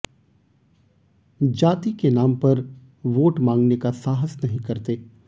जाति के नाम पर वोट मांगने का साहस नहीं करते